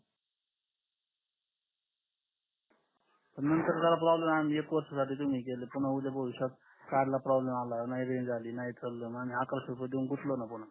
नंतर जरा आला एक वर्ष साठी तुम्ही दिले पुन्हा उदय भविष्यात काही प्रॉब्लम आला नाही रेंज आली नाही चाल तर अकरक्षे रुपये देऊन गुटलो न पुन्हा